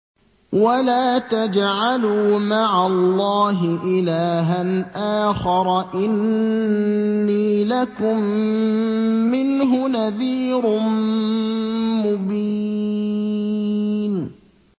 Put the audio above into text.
وَلَا تَجْعَلُوا مَعَ اللَّهِ إِلَٰهًا آخَرَ ۖ إِنِّي لَكُم مِّنْهُ نَذِيرٌ مُّبِينٌ